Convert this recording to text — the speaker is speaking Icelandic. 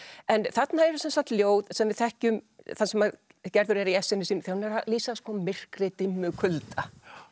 en þarna eru sem sagt ljóð sem við þekkjum þar sem Gerður er í essinu sínu þegar hún er að lýsa myrkri dimmu kulda